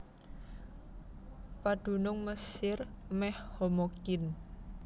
Padunung Mesir mèh homogin